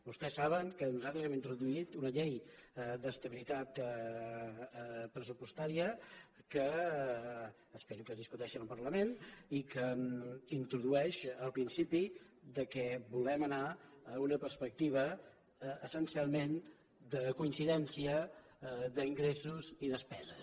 vostès saben que nosaltres hem introduït una llei d’estabilitat pressupostària que espero que es discuteixi en el parlament i que introdueix el principi que volem anar a una perspectiva essencialment de coincidència d’ingressos i despeses